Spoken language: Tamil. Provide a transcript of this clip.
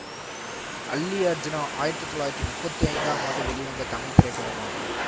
அல்லி அர்ஜூனா ஆயிரத்தி தொள்ளாயிரத்தி முப்பத்தி ஐந்தாம் ஆண்டு வெளிவந்த தமிழ் திரைப்படமாகும்